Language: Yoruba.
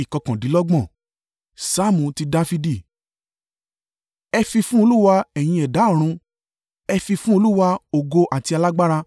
Saamu ti Dafidi. Ẹ fi fún Olúwa, ẹ̀yin ẹ̀dá ọ̀run, ẹ fi fún Olúwa, ògo àti alágbára.